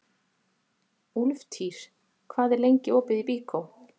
Úlftýr, hvað er lengi opið í Byko?